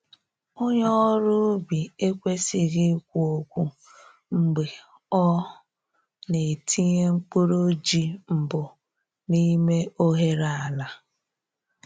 Onye ọrụ ubi ekwesịghị ikwu okwu mgbe ọ na-etinye mkpụrụ ji mbụ n’ime oghere ala.